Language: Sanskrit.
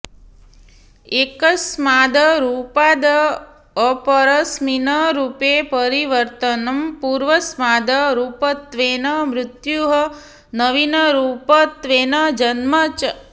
एकस्माद् रूपाद् अपरस्मिन् रूपे परिवर्तनं पूर्वस्माद् रूपत्वेन मृत्युः नवीनरूपत्वेन जन्म च